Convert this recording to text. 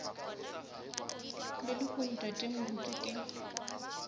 le lehono tate moruti ke